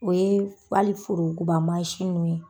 O ye fali forontoba mansi nun ye